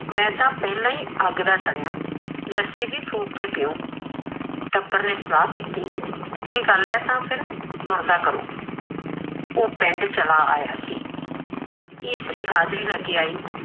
ਮੈ ਤਾ ਪਹਿਲਾ ਅੱਗ ਦਾ ਸੜਿਆ ਲੈਸੀ ਵੀ ਫੂਕ ਕੇ ਪੀਉ ਟਬਰ ਨੇ ਸਲਾਹ ਕੀਤੀ ਇਹ ਗਲ ਏ ਤਾ ਫਿਰ ਤੁਰਦਾ ਕਰੋ ਓਹ ਪਿੰਡ ਚਲਾ ਆਇਆ ਸੀ ਇਸਤਰੀ ਹਾਜਰੀ ਲੈ ਕੇ ਆਈ